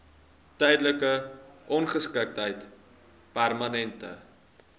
tydelike ongeskiktheid permanente